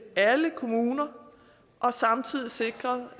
alle kommuner og samtidig sikret